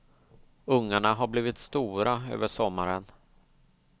Ungarna har blivit stora över sommaren.